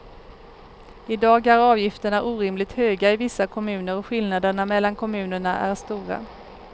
I dag är avgifterna orimligt höga i vissa kommuner och skillnaderna mellan kommunerna är stora.